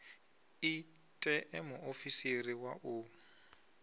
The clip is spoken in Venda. i ṋee muofisiri wa u